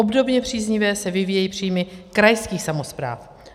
Obdobně příznivě se vyvíjejí příjmy krajských samospráv.